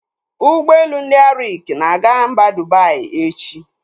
Ụgbọelu ndị Arik na-aga mba Dubai echi.